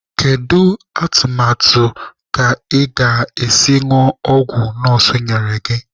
Kedu atụmatụ ka ị ga-esi ñụọ ọgwụ nọọsụ nyere gị?